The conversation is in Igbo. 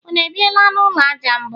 unu ebiela n'ụlọ aja mbụ?